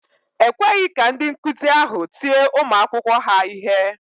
E kweghị ka ndị nkụzi ahụ tie ụmụ akwụkwọ ha ihe.